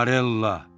Marella!